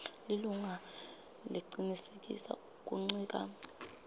lilunga lecinisekisa kuncika